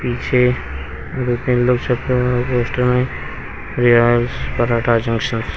पीछे दो तीन दो पोस्टर में रेल्स पराठा जंक्शन --